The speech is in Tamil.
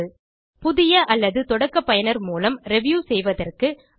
3500 புதிய அல்லது தொடக்க பயனர் மூலம் ரிவ்யூ செய்வதற்கு ரூ